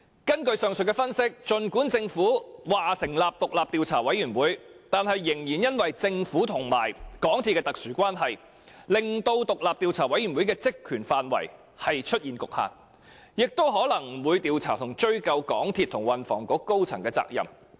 根據上述分析，儘管政府已成立獨立調查委員會，但政府與港鐵公司的特殊關係，卻令該委員會的職權範圍出現局限，以致它可能不會調查和追究港鐵公司和運輸及房屋局高層的責任。